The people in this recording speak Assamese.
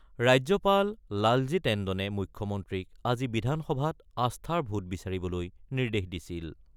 ৰাজ্যপাল লালজী টেণ্ডনে মুখ্যমন্ত্ৰীক আজি বিধানসভাত আস্থাৰ ভোট বিচাৰিবলৈ নিৰ্দেশ দিছিল।